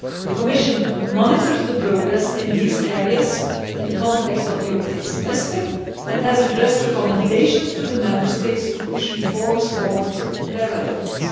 The Commission monitors progress in these areas in the context of the European Semester and has addressed recommendations to the Member States to push reforms forward where relevant.